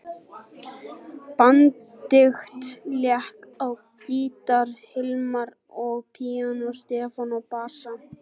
Benedikt lék á gítar, Hilmar á píanó, Stefán á bassa.